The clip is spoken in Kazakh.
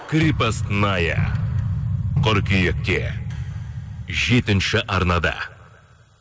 крепостная қыркүйекте жетінші арнада